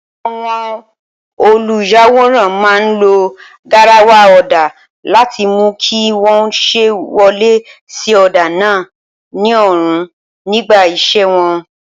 Àwọn olùyàwòrán máa ń lo garawa ọ̀dà láti mú kí wọ́n sì wọlé sí ọ̀dà náà nírọ̀rùn nígbà iṣẹ́ wọn.